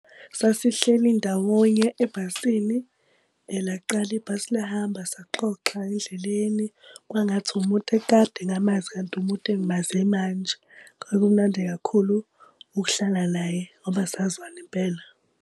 Sasihleli ndawonye ebhasini, laqala ibhasi lahamba saxoxa endleleni, kwangathi umuntu ekade ngamazi kanti umuntu engimaze manje. Kwakumnandi kakhulu ukuhlala naye ngoba sazwana impela.